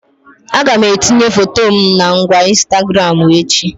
Aga m etinye foto my na ngwa Ịnstagramụ echi